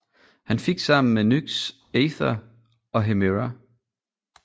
Han fik sammen med Nyx Aither og Hemera